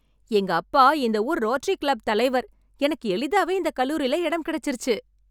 எங்க அப்பா இந்த ஊர் ரோட்டரி கிளப் தலைவர், எனக்கு எளிதாவே இந்தக் கல்லூரில இடம் கிடைச்சுருச்சு.